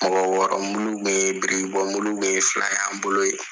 Mɔgɔ wɔɔrɔ mulu bɛ yen, birikibɔmulu bɛ yen, fila y'an bolo ye.